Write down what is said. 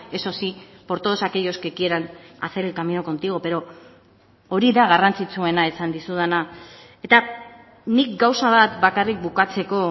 eso sí por todos aquellos que quieran hacer el camino contigo pero hori da garrantzitsuena esan dizudana eta nik gauza bat bakarrik bukatzeko